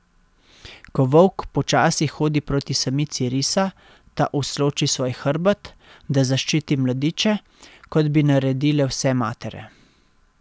Ko volk počasi hodi proti samici risa, ta usloči svoj hrbet, da zaščiti mladiče, kot bi naredile vse matere.